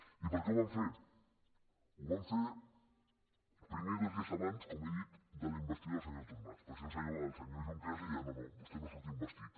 i per què ho van fer ho van fer primer dos dies abans com he dit de la investidura del senyor artur mas perquè si no el senyor junqueras li deia no no vostè no surt investit